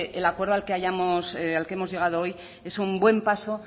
el acuerdo al que hemos llegado hoy es un buen paso